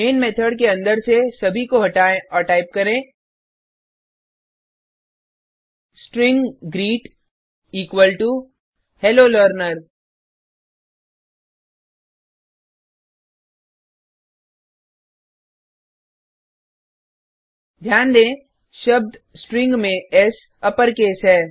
main method के अंदर से सभी को हटाएँ और टाइप करें string greet equal to hello learner ध्यान दें शब्द स्ट्रिंग में एस अपरकेस है